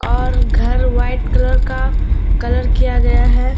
और घर white colour का कलर किया गया है।